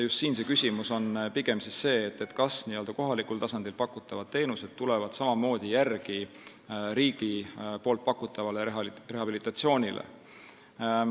Siin on pigem see küsimus, kas n-ö kohalikul tasandil pakutavad teenused tulevad järele riigi pakutavale rehabilitatsioonile.